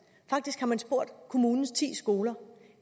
faktisk har man spurgt kommunens ti skoler